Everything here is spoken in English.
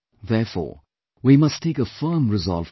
Therefore, we must take a firm resolve today